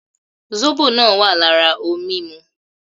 Zóbò náà wà lára ohun mímu